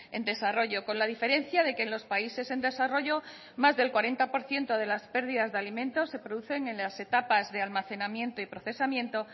en desarrollo con la diferencia de que en los países en desarrollo más del cuarenta por ciento de las pérdidas de alimentos se producen en las etapas de almacenamiento y procesamiento